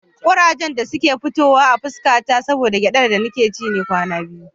Ƙurajen da suka fito a fuska ta saboda gyaɗar da nake ci ne kwana biyu.